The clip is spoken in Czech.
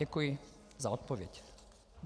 Děkuji za odpověď.